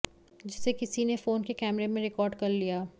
जिसे किसी ने फोन के कैमरे में रिकॉर्ड कर लिया